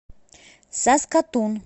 саскатун